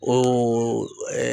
Ooo ɛɛ